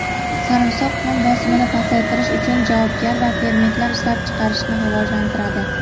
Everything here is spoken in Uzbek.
sarimsoq qon bosimini pasaytirish uchun javobgar va fermentlar ishlab chiqarishni rivojlantiradi.